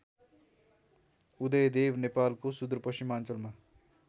उदयदेव नेपालको सुदूरपश्चिमाञ्चल